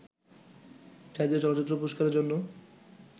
জাতীয় চলচ্চিত্র পুরস্কারের জন্য